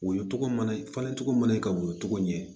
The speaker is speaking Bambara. Woyo mana falen cogo mana woyɔ cogo ɲɛ